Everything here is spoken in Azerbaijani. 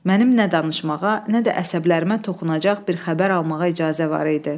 Mənim nə danışmağa, nə də əsəblərimə toxunacaq bir xəbər almağa icazə var idi.